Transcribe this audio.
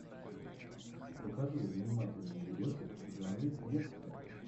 покажи занимательный видосик в жанре лекция